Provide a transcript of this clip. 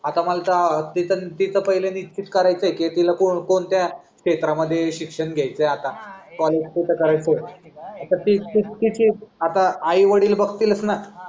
आता मला तीच पहिले नीट पित करायच आहे की तिला कोणत्या क्षेत्र मध्ये शिक्षण घ्यायच आहे आता त करायच आहे आता तीच तीच तीच तिची आई वडील बघटीलस ना